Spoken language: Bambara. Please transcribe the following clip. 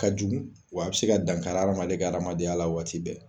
Ka jugu wa a be se ka dan kari adamaden ka adamadenya la waati bɛɛ.